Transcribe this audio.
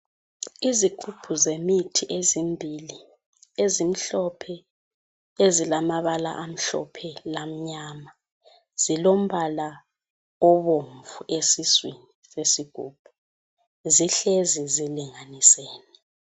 Izigubhu zemithi ezimbili, ezimhlophe , ezilamabala amhlophe lamnyama. Zilombala obomvu esiswini sesigubhu. Zihlezi zilinganisene.